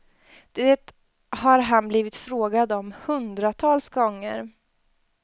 Det har han blivit frågad om hundratals gånger.